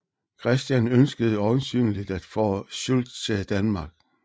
Christian ønskede øjensynligt at få Schütz til Danmark